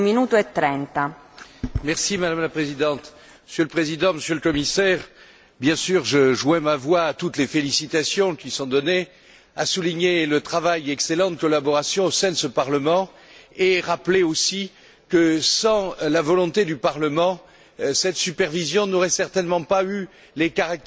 Madame la Présidente, Monsieur le Président, Monsieur le Commissaire, bien sûr, je joins ma voix à toutes les félicitations qui sont données et je souhaite souligner le travail et l'excellente collaboration au sein de ce Parlement et rappeler aussi que, sans la volonté du Parlement, cette supervision n'aurait certainement pas eu les caractères européens qu'elle a aujourd'hui.